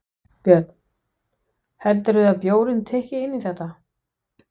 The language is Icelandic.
Björn: Heldurðu að bjórinn tikki inn í þetta?